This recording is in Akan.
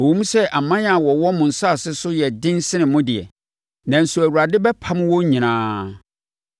Ɛwom sɛ aman a wɔwɔ mo asase so yɛ den sen mo deɛ, nanso Awurade bɛpamo wɔn nyinaa.